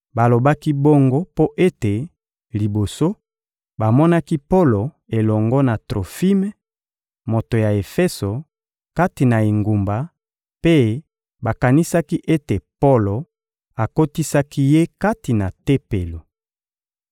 Balobaki bongo mpo ete, liboso, bamonaki Polo elongo na Trofime, moto ya Efeso, kati na engumba mpe bakanisaki ete Polo akotisaki ye kati na Tempelo.